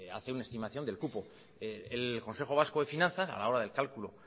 hace una estimación del cupo el consejo vasco de finanzas a la hora del cálculo